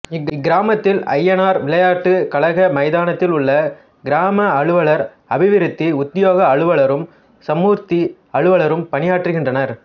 இக்கிராமத்தில் ஐயனார் விளையாட்டுக் கழக மைதானத்தில் உள்ள கிராம அலுவலர் அபிவிருத்தி உத்தியோக அலுவலரும் சமுர்த்தி அலுவலரும் பணியாற்றுகின்றனர்